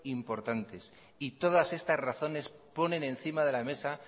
importantes y todas estas razones ponen encima de la mesa